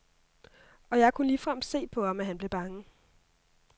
Og jeg kunne ligefrem se på ham, at han blev bange.